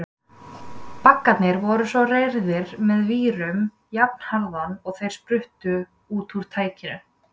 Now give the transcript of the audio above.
Baggarnir voru svo reyrðir með vírum jafnharðan og þeir spruttu út úr tækinu.